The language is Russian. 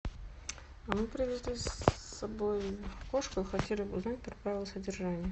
мы привезли с собой кошку и хотели бы узнать про правила содержания